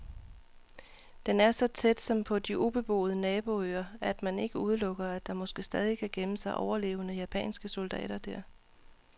Den er så tæt, som på de ubeboede naboøer, at man ikke udelukker, at der måske stadig kan gemme sig overlevende japanske soldater der.